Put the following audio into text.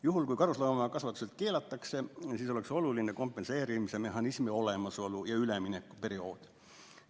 Juhul kui karusloomakasvatused keelatakse, siis oleks oluline kompenseerimismehhanismi olemasolu ja üleminekuperiood.